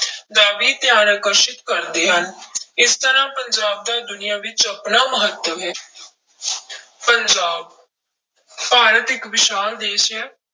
ਦਾ ਵੀ ਧਿਆਨ ਆਕਰਸ਼ਿਤ ਕਰਦੇ ਹਨ ਇਸ ਤਰ੍ਹਾਂ ਪੰਜਾਬ ਦਾ ਦੁਨੀਆਂ ਵਿੱਚ ਆਪਣਾ ਮਹੱਤਵ ਹੈ ਪੰਜਾਬ ਭਾਰਤ ਇੱਕ ਵਿਸ਼ਾਲ ਦੇਸ ਹੈ